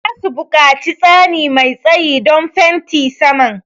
Za su buƙaci tsani mai tsayi don fenti saman.